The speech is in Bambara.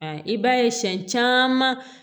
I b'a ye siɲɛ caman